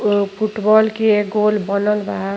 ओ football के गोल बनल बा।